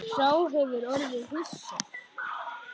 Sá hefur orðið hissa